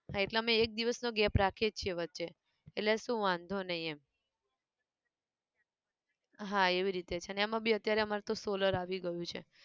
હા એટલે અમે એક દિવસ નો gape રાખીએ જ છે વચ્ચે, એટલે શું વાંધો નઈ એમ, હા એવી રીતે છે ન એમાં બી અત્યારે અમાર તો solar આવી ગયું છે